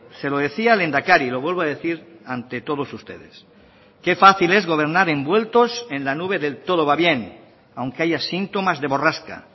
se lo decía al lehendakari lo vuelvo a decir ante todos ustedes qué fácil es gobernar envueltos en la nube del todo va bien aunque haya síntomas de borrasca